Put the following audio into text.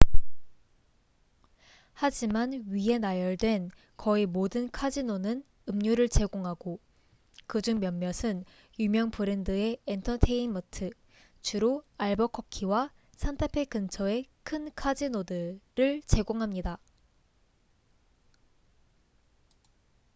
하지만 위에 나열된 거의 모든 카지노는 음료를 제공하고 그중 몇몇은 유명 브랜드의 엔터테인먼트주로 알버커키와 산타페 근처의 큰 카지노들를 제공합니다